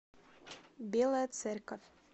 белая церковь